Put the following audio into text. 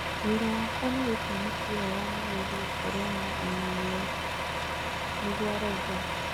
Wĩra wakwa nĩ gũtua mũbira wa magũrũ gũkoreo na ũmenyeru,' nĩguo arauga.